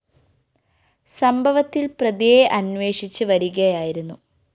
സംഭവത്തില്‍ പ്രതിയെ അന്വേഷിച്ച് വരികയായിരുന്നു